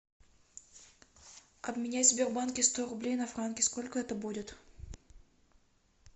обменять в сбербанке сто рублей на франки сколько это будет